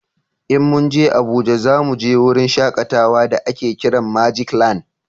In mun je Abuja za mu je wurin shakatawa da a ke kiran magic land